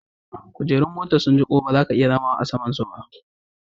Kujerun motan sun jiku ba za ka iya zauna a sama'n su ba.